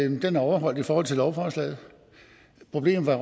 og den er overholdt i forhold til lovforslaget problemet